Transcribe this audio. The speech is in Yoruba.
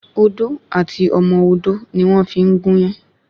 Odò àti ọmọ odó ni wọ́n fi ń gúnyán